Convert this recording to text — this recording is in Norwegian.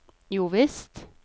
jovisst